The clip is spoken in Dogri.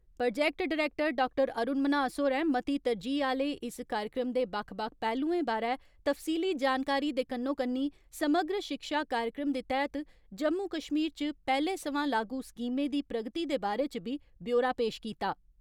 Project director doctor Arun Manhas होरें मती तरजीह आले इस कार्यक्रम दे बक्ख बक्ख पैहलुएं बारै तफसीली जानकारी दे कन्नो कन्नी समग्र शिक्षा कार्यक्रम दे तैहत जम्मू कश्मीर च पैहले सवां लागू स्कीमें दी प्रगति दे बारै च बी ब्योरा पेश कीता।